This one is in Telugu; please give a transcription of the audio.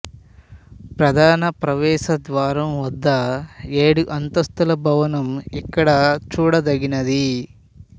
ప్రధాన ప్రవేశ ద్వారం వద్ద ఏడు అంతస్తుల భవనం ఇక్కడ చూడదగినది